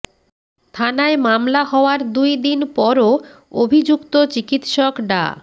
থানায় মামলা হওয়ার দুই দিন পরও অভিযুক্ত চিকিৎসক ডা